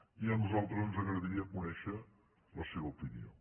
i a nosaltres ens agradaria conèixer la seva opinió